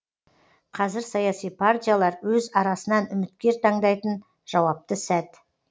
қазір саяси партиялар өз арасынан үміткер таңдайтын жауапты сәт